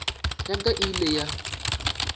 ya ka e ile ya